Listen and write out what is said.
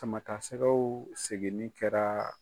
Sama ta sɛgɛw segin ni kɛra